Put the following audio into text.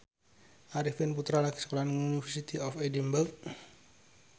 Arifin Putra lagi sekolah nang University of Edinburgh